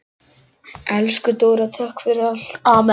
Elsku Dóra, takk fyrir allt.